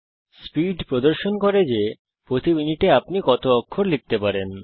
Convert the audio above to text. speed প্রদর্শন করে যে প্রতি মিনিটে আপনি কত অক্ষর লিখতে পারেন